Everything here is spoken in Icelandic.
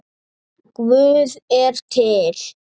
Guð er til.